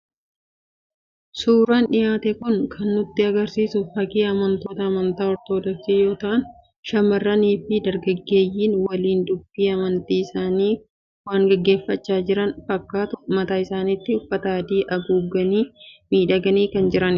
Suuraan dhiyaate kun kan nutti argisiisu fakii amantoota amantaa Ortodoksii yoo ta'an shamarrannii fi dargaggeeyyiin waliin dubbii amantii isaanii waan dhaggeeffachaa jiran fakkaatu. mataa isaaniittis uffata adii haguuganii miidhaganii kan jiranidha.